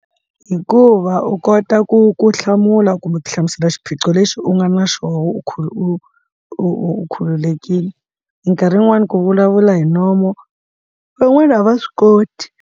Hikuva u kota ku ku hlamula kumbe ku hlamusela xiphiqo lexi u nga na xona u kha u u khululekile minkarhi yin'wani ku vulavula hi nomo van'wani a va swi koti.